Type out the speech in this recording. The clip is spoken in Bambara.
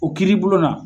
O kiiri bulon na